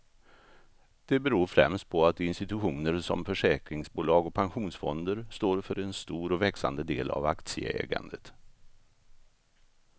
Det beror främst på att institutioner som försäkringsbolag och pensionsfonder står för en stor och växande del av aktieägandet.